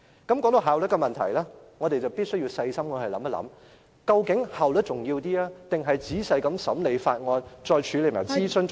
談到效率的問題，我們必須細心考慮，究竟是效率重要，還是仔細審理法案，再處理諮詢較為重要......